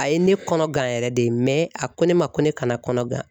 A ye ne kɔnɔ gan yɛrɛ de a ko ne ma ko ne kana kɔnɔ gan